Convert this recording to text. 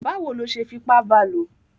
Báwo ló ṣe fipá ba lò?